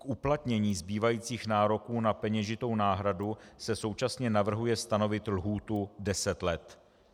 K uplatnění zbývajících nároků na peněžitou náhradu se současně navrhuje stanovit lhůtu deset let.